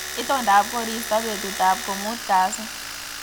Itondop koristo betutab ko muut kasi